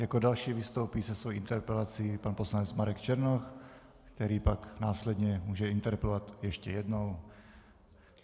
Jako další vystoupí se svou interpelací pan poslanec Marek Černoch, který pak následně může interpelovat ještě jednou.